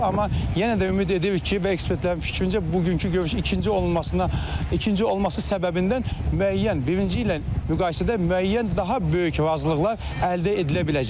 Amma yenə də ümid edirik ki, və ekspertlərin fikrincə bugünkü görüş ikinci olunmasına ikinci olması səbəbindən müəyyən, birinci ilə müqayisədə müəyyən daha böyük razılıqlar əldə edilə biləcək.